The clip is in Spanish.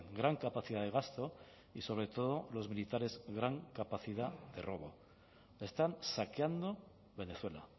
gran capacidad de gasto y sobre todo los militares gran capacidad de robo están saqueando venezuela